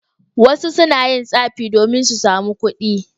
Wasu na yin tsafi domin su sami kuɗi.